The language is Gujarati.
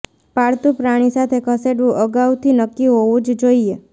પાળતુ પ્રાણી સાથે ખસેડવું અગાઉથી નક્કી હોવું જ જોઈએ